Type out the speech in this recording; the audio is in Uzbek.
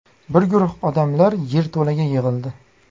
Bir guruh odamlar yerto‘laga yig‘ildi.